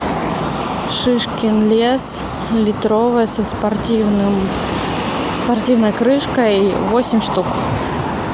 шишкин лес литровая со спортивной крышкой восемь штук